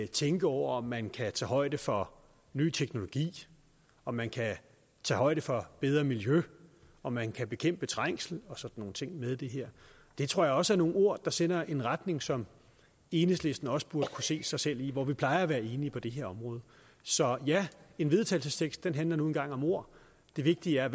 tænke over om man kan tage højde for ny teknologi om man kan tage højde for bedre miljø om man kan bekæmpe trængsel og sådan nogle ting med i det her det tror jeg også er nogle ord der sender en retning som enhedslisten også burde kunne se sig selv i hvor vi plejer at være enige på det her område så ja en vedtagelsestekst handler nu engang om ord det vigtige er